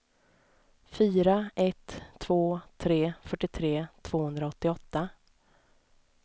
fyra ett två tre fyrtiotre tvåhundraåttioåtta